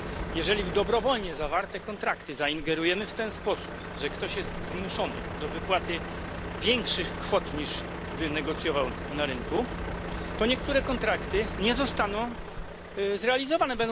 Jeżeli w dobrowolnie zawarte kontrakty zaingerujemy w ten sposób, że ktoś jest zmuszony do wypłaty większych kwot, niż wynegocjował na rynku, to niektóre kontrakty nie zostaną zrealizowane.